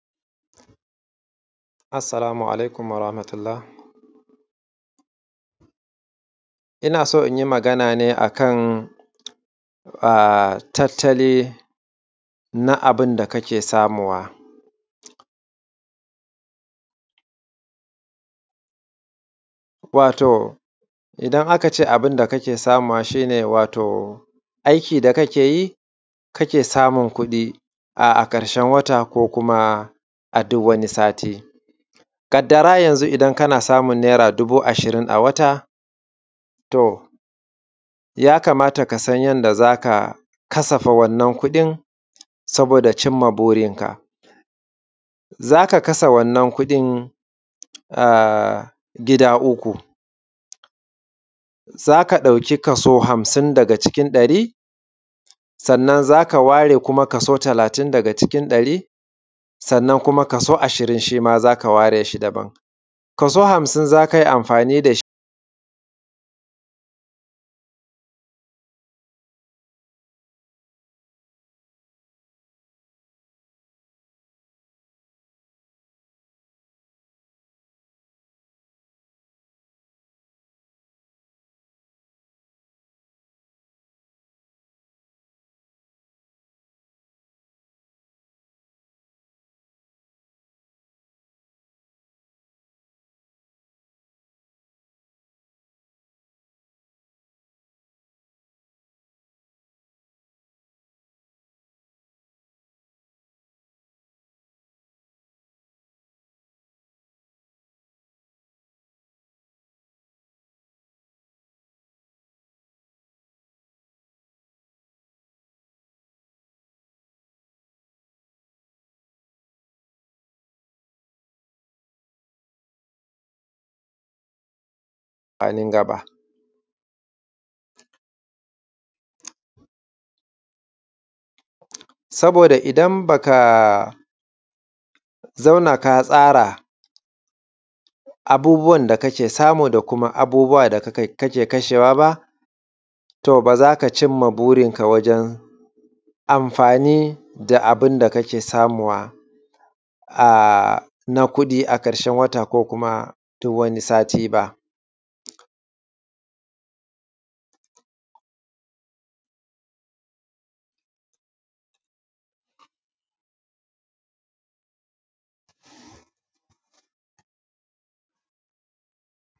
Assalamu alaikum warahmatullah. Ina so in yi magana ne akan tattali na abun da kake samowa, wato idan aka ce abun da kake samowa shi ne wato aiki da kake yi kake samun kuɗi a ƙarshen wata ko kuma a duk wani sati. Kaddara yanzun idan kana samun naira dubu ashirin a wata to ya kamata kasan yanda za ka kasafa wannan kuɗin saboda cimma burinka. Za ka kasa wannan kuɗin gida uku, za ka ɗauki kaso hamsin daga cikin ɗari sannan za ka ware kuma kaso talatin daga cikin ɗari, sannan kuma kaso ashirin shi ma za ka ware shi daban, kaso hamsin kai amfani da shi a nan gaba saboda idan ba ka zauna ka tsara abubuwan da kake samu da kuma abubuwan da ka kan kashe wa ba to ba za ka cinma burinka wajen amfani da abun da kake samuwa na kuɗi a ƙarshen wata ko kuma duk wani sati ba.